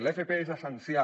l’fp és essencial